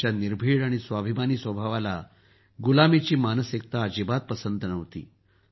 त्यांच्या निर्भीड आणि स्वाभिमानी स्वभावाला गुलामीची मानसिकता अजिबात पंसत नव्हती